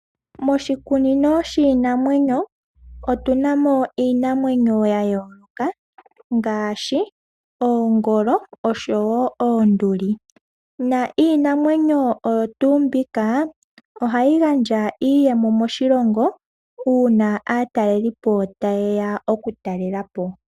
Moshikunino shiinamwenyo otuna mo iinamwenyo yayooloka ngaashi oongolo osho wo oonduli na iinamwenyo oyo tuu mbika ohayi gandja iiyemo moshilongo uuna aatalelipo tayeya okutalela po.